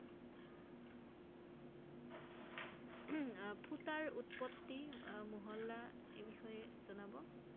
ফূটাৰ উৎপওি মহল্লা এই বিষয়ে জনাব ৷